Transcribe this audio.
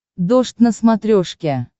дождь на смотрешке